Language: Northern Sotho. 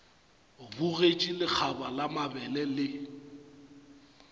bogetše lekgaba la mabele le